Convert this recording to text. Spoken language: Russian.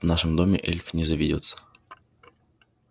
в нашем доме эльф не заведётся